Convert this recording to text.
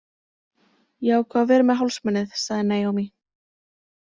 Ég ákvað að vera með hálsmenið, sagði Naomi.